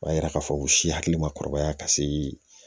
O b'a yira k'a fɔ u si hakili ma kɔrɔbaya ka se